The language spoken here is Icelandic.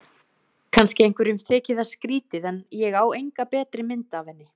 Kannski einhverjum þyki það skrýtið en ég á enga betri mynd af henni.